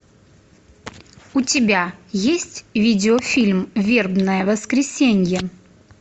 у тебя есть видеофильм вербное воскресенье